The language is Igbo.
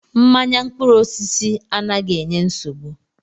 Mmanya mkpụrụ osisi anaghị enye nsogbu.